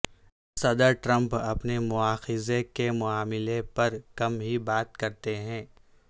صدر ٹرمپ اپنے مواخذے کے معاملے پر کم ہی بات کرتے ہیں